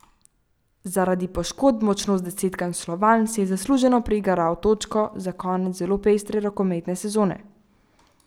Zaradi poškodb močno zdesetkan Slovan si je zasluženo prigaral točko za konec zelo pestre rokometne sezone.